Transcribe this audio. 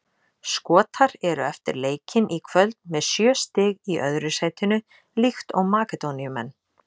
Skotar eru eftir leikinn í kvöld með sjö stig í öðru sætinu líkt og Makedóníumenn.